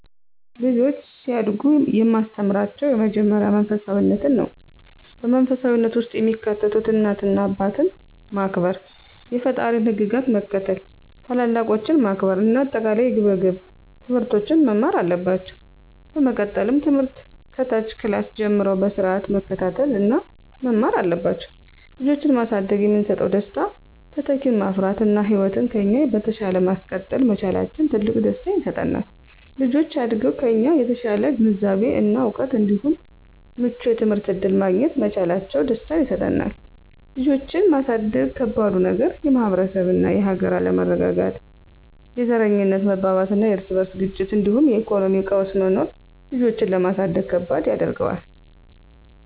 ልጆች ሲያድጉ የማስተምራቸው የመጀመሪያው መንፈሳፊነትን ነው። በመንፈሳዊነት ውስጥ የሚካተቱት እናት አባትን ማክበር፣ የፈጣሪን ህግጋት መከተል፣ ታላላቆችን ማክበር እና አጠቃላይ የግብረ ገብ ትምህርቶችን መማር አለባቸው። በመቀጠልም ትምህርት ከታች ክላስ ጀምረው በስርአት መከታተል እና መማር አለባቸው። ልጆችን ማሳደግ የሚሰጠው ደስታ:- - ተተኪን ማፍራት እና ህይወትን ከኛ በተሻለ ማስቀጠል መቻላችን ትልቅ ደስታ ይሰጣል። - ልጆች አድገው ከኛ የተሻለ ግንዛቤ እና እውቀት እንዲሁም ምቹ የትምህርት እድል ማግኘት መቻላቸው ደስታን ይሰጠናል። ልጆችን ማሳደግ ከባዱ ነገር:- - የማህበረሰብ እና የሀገር አለመረጋጋት፣ የዘረኝነት መባባስና የርስ በርስ ግጭቶች እንዲሁም የኢኮኖሚ ቀውስ መኖሩ ልጆችን ለማሳደግ ከባድ ያደርገዋል።